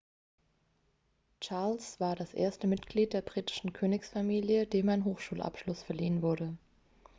charles war das erste mitglied der britischen königsfamilie dem ein hochschulabschluss verliehen wurde